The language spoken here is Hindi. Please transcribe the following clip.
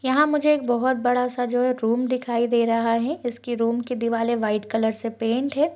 यहाँ मुझे एक बहुत बड़ा सा जो रूम दिखाई दे रहा है जिसकी रूम की दिवाले व्हाइट कलर से पैंट है।